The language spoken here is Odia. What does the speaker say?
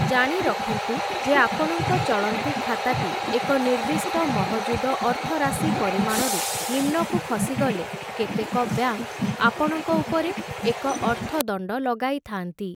ଜାଣିରଖନ୍ତୁ ଯେ ଆପଣଙ୍କ ଚଳନ୍ତି ଖାତାଟି ଏକ ନିର୍ଦ୍ଦିଷ୍ଟ ମହଜୁଦ ଅର୍ଥରାଶି ପରିମାଣରୁ ନିମ୍ନକୁ ଖସିଗଲେ, କେତେକ ବ୍ୟାଙ୍କ୍‌ ଆପଣଙ୍କ ଉପରେ ଏକ ଅର୍ଥଦଣ୍ଡ ଲଗାଇଥାନ୍ତି ।